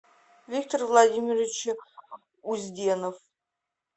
виктор владимирович узденов